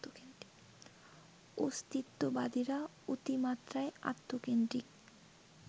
অস্তিত্ববাদীরা অতিমাত্রায় আত্মকেন্দ্রিক